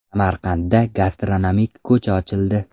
Samarqandda gastronomik ko‘cha ochildi.